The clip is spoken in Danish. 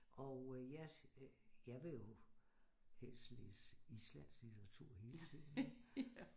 Og øh jeg øh jeg vil jo helst læse islandsk litteratur hele tiden ikke